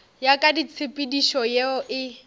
ya ka tshepedišo ye e